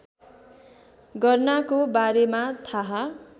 गर्नाको बारेमा थाहा